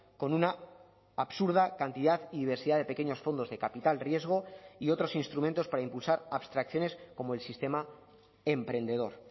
con una absurda cantidad y diversidad de pequeños fondos de capital riesgo y otros instrumentos para impulsar abstracciones como el sistema emprendedor